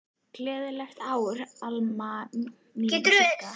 Gleðilegt ár, Alma mín og Sigga.